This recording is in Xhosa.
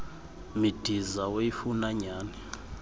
midiza oyifuna nyhani